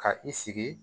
Ka i sigi